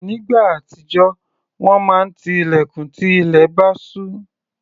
Nígbà àtijọ́, wọ́n máa ti ilẹ̀kùn tí ilẹ̀ bá ṣú.